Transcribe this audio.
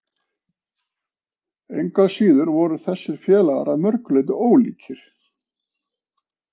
Engu að síður voru þessir félagar að mörgu leyti ólíkir.